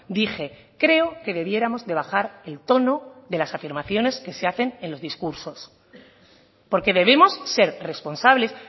dije creo que debiéramos de bajar el tono de las afirmaciones que se hacen en los discursos porque debemos ser responsables